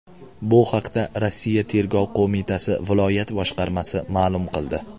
Bu haqda Rossiya Tergov qo‘mitasi viloyat boshqarmasi ma’lum qildi .